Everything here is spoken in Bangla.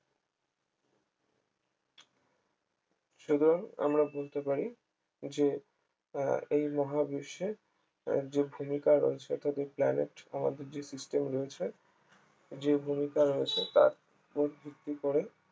সুতরাং আমরা বলতে পারি আহ যে এই মহাবিশ্বের আহ যে ভূমিকা রয়েছে অর্থাৎ যে planet আমাদের যে system রয়েছে যে ভূমিকা রয়েছে তার ওপর ভিত্তি করে